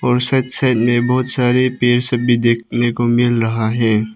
और सत्संग में बहुत सारे भी देखने को मिल रहा है।